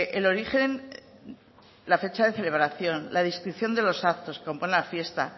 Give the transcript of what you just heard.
el origen la fecha de celebración la descripción de los actos la fiesta